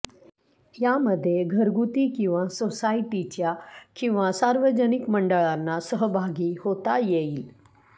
यामध्ये घरगुती किंवा सोसायटीच्या किंवा सार्वजनिक मंडळांना सहभागी होता येईल